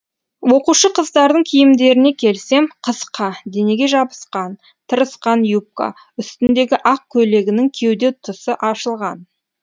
оқушы қыздардың киімдеріне келсем қысқа денеге жабысқан тырысқан юбка үстіндегі ақ көйлегінің кеуде тұсы ашылған